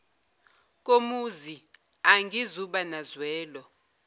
komuzi angizuba nazwelo